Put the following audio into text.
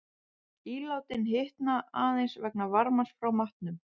Ílátin hitna aðeins vegna varmans frá matnum.